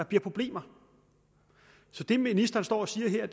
blive problemer så det ministeren står og siger